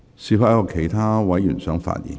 是否有其他委員想發言？